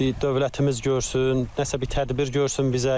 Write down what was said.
Bir dövlətimiz görsün, nəsə bir tədbir görsün bizə.